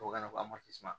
Tubabukan na ko